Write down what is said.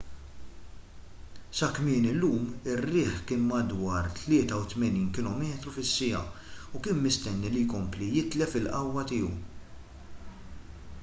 sa kmieni llum ir-riħ kien madwar 83 km/h u kien mistenni li jkompli jitlef il-qawwa tiegħu